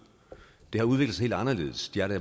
det har udviklet sig helt anderledes de er der